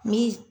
Ni